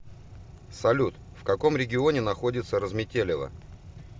салют в каком регионе находится разметелево